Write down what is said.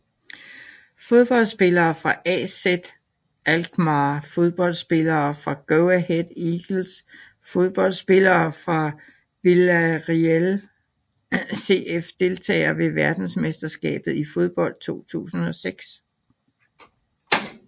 Fodboldspillere fra AZ Alkmaar Fodboldspillere fra Go Ahead Eagles Fodboldspillere fra Villarreal CF Deltagere ved verdensmesterskabet i fodbold 2006